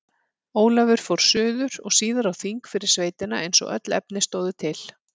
Ólafur fór suður og síðar á þing fyrir sveitina eins og öll efni stóðu til.